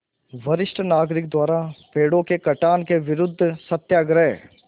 वरिष्ठ नागरिक द्वारा पेड़ों के कटान के विरूद्ध सत्याग्रह